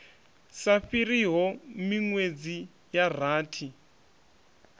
sa fhiriho minwedzi ya rathi